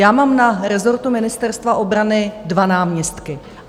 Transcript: Já mám na rezortu Ministerstva obrany dva náměstky.